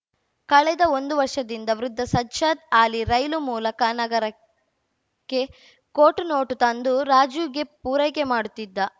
ಕಳೆದ ಒಂದು ವರ್ಷದಿಂದ ವೃದ್ಧ ಸಜ್ಜಾದ್‌ ಅಲಿ ರೈಲು ಮೂಲಕ ನಗರಕ್ಕೆ ಖೋಟು ನೋಟು ತಂದು ರಾಜುಗೆ ಪೂರೈಕೆ ಮಾಡುತ್ತಿದ್ದ